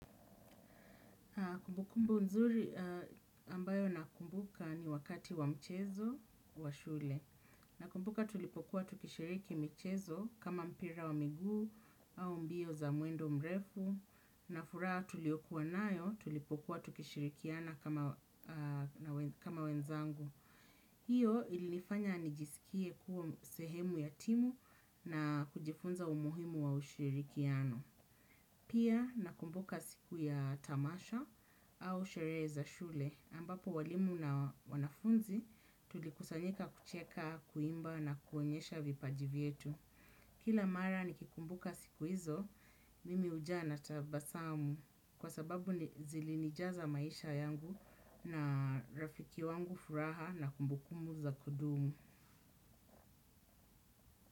Kumbukumbu nzuri ambayo nakumbuka ni wakati wa mchezo wa shule. Nakumbuka tulipokuwa tukishiriki michezo kama mpira wa miguu au mbio za mwendo mrefu na furaha tuliokuwa nayo tulipokuwa tukishirikiana kama wenzangu. Hiyo ilinifanya nijisikie kuwa sehemu ya timu na kujifunza umuhimu wa ushirikiano. Pia nakumbuka siku ya tamasha au sherehe za shule ambapo walimu na wanafunzi tulikusanyika kucheka, kuimba na kuonyesha vipaji vyetu. Kila mara nikikumbuka siku hizo, mimi ujaa na tabasamu kwa sababu zili nijaza maisha yangu na rafiki wangu furaha na kumbukumu za kudumu.